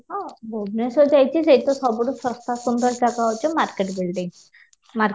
ହଁ ଭୁବନେଶ୍ୱର ଯାଇଛି ସେଠି ତ ସବୁଠୁ ଶସ୍ତା ସୁନ୍ଦର ଜାଗା ହଉଛି market building market